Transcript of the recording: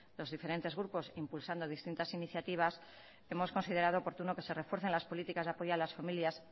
los diferentes grupos impulsando distintas iniciativas hemos considerado oportuno que se refuercen las políticas de apoyo a las familias